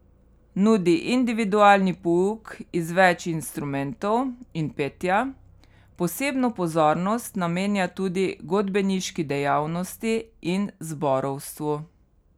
Nudi individualni pouk iz več instrumentov in petja, posebno pozornost namenja tudi godbeniški dejavnosti in zborovstvu.